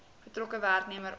betrokke werknemer of